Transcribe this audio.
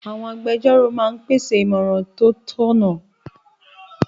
Àwọn agbẹjórò máa n pèsè ìmọ̀ràn tó tọ̀nà